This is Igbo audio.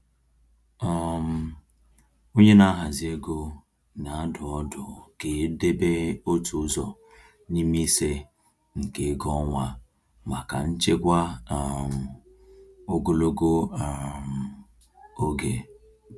um Onye na-ahazi ego na-adụ ọdụ ka e debe otu ụzọ n’ime ise nke ego ọnwa maka nchekwa um ogologo um oge.